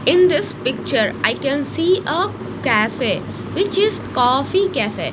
in this picture i can see a cafe which is coffee cafe.